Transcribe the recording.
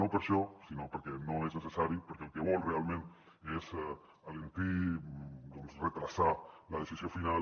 no per això sinó perquè no és necessari perquè el que vol realment és alentir doncs endarrerir la decisió final